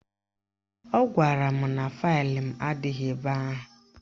Ọ gwara m na faịlụ m adịghị ebe ahụ